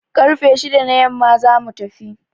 Karfe shida na yamma za mu tafi.